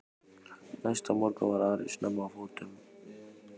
Næsta morgun var Ari snemma á fótum.